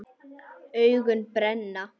Augun brenna.